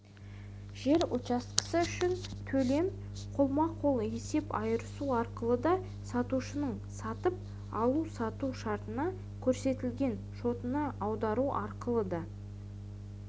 жер учаскесі үшін төлем қолма-қол есеп айырысу арқылы да сатушының сатып алу-сату шартында көрсетілген шотына аудару арқылы да